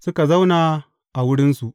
Suka zauna a wurinsu.